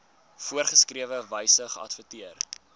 voorgeskrewe wyse geadverteer